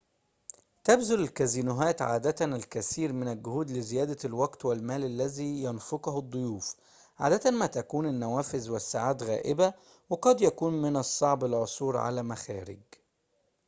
تبذل الكازينوهات عادة الكثير من الجهود لزيادة الوقت والمال الذي ينفقه الضيوف عادة ما تكون النوافذ والساعات غائبة وقد يكون من الصعب العثور على مخارج